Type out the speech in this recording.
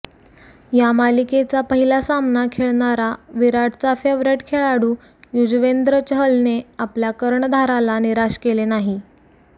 या मालिकेचा पहिला सामना खेळणारा विराटचा फेव्हरेट खेळाडू यजुवेंद्र चहलने आपल्या कर्णधाराला निराश केले नाही